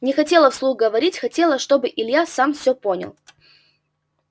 не хотела вслух говорить хотела чтобы илья сам всё понял